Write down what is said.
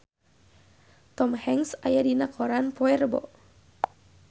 Tom Hanks aya dina koran poe Rebo